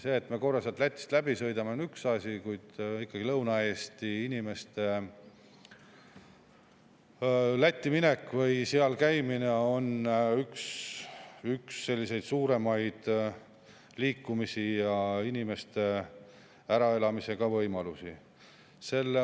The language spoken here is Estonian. See, et me korra sealt Lätist läbi sõidame, on üks asi, kuid ikkagi Lõuna-Eesti inimeste Lätti minek või seal käimine on üks suuremaid liikumisi ja ka inimeste äraelamise võimalusi.